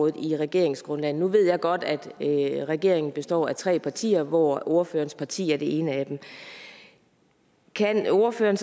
i regeringsgrundlaget nu ved jeg godt at regeringen består af tre partier hvoraf ordførerens parti er det ene men kan ordføreren